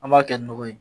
An b'a kɛ ni nɔgɔ ye